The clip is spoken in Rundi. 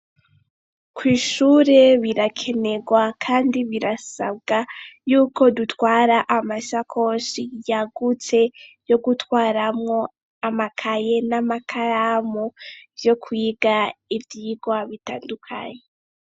Kw' ishure birakenerwa kandi birasabwa y'uko dutwara amasakosi yagutse yo gutwaramo amakaye n'amakaramu vyo kwiga ivyirwa bitandukanye.